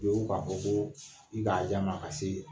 U be wuli ka fɔ ko i k'a di a ma ka se